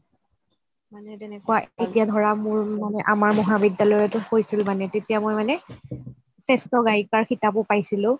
মানে তেনেকুৱা এতিয়া ধৰা মোৰ মানে আমাৰ মহাবিদ্যালয়তয়ো কৈছিল মানে তেতিয়া মই মানে সেষ্টোগাইকাৰ খিতাপয়ো পাইছোঁ